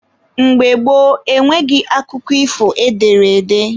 Mgbe gboo, enweghị akụkọ ifo ederede